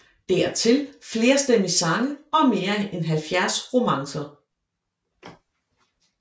Dertil flerstemmige sange og mere end 70 romancer